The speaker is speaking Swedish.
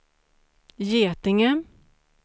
Getinge